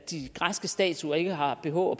de græske statuer ikke har bh